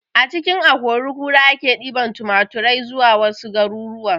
A cikin akori kura ake ɗiban tunaturai zuwa wasu garuruwan